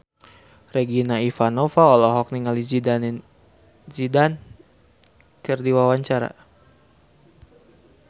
Regina Ivanova olohok ningali Zidane Zidane keur diwawancara